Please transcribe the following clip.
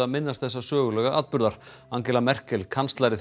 minntust þessa sögulega atburðar Angela Merkel kanslari